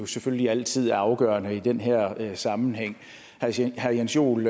selvfølgelig altid afgørende i den her sammenhæng herre jens joel